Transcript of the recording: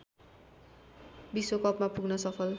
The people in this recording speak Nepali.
विश्वकपमा पुग्न सफल